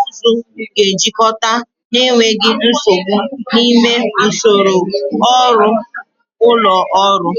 ụzụ ga-ejikọta n'enweghị nsogbu n'ime usoro ọrụ ụlọ ọrụ.